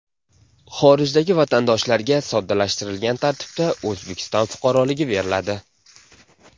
Xorijdagi vatandoshlarga soddalashtirilgan tartibda O‘zbekiston fuqaroligi beriladi.